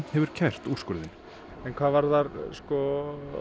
hefur kært úrskurðinn en hvað varðar sko